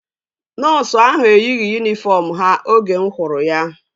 Nọọsu ahu eyighị yunifọm ha oge mụ hụrụ ya